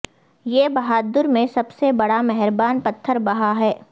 یہ بہادر میں سب سے بڑا مہربان پتھر بہھا ہے